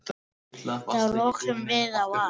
Þá lokuðum við á allt.